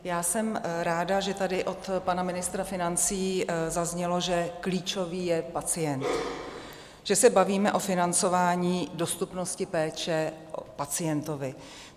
Já jsem ráda, že tady od pana ministra financí zaznělo, že klíčový je pacient, že se bavíme o financování dostupnosti péče pacientovi.